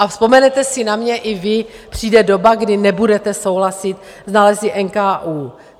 A vzpomenete si na mě i vy, přijde doba, kdy nebudete souhlasit s nálezy NKÚ.